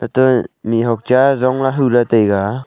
mihhuak cha e Jong la hula taiga.